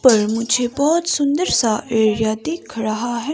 पर मुझे बहुत सुंदर सा एरिया दिख रहा है।